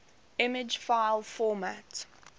image file format